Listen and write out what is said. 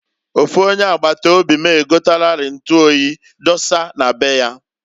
Ofu onye agbata obi m egotagori ntu oyi dosa na be ya.